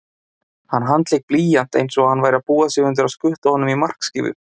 Hann handlék blýant einsog hann væri að búa sig undir að skutla honum í markskífu